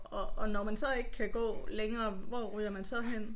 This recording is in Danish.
Og og når man så ikke kan gå længere hvor ryger man så hen?